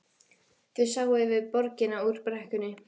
Þau sáu yfir borgina úr brekkunni.